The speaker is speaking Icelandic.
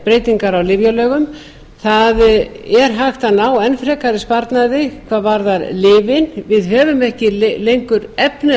breytingar á lyfjalögum það er hægt að ná enn frekari sparnaði hvað varðar lyfin við höfum ekki lengur efni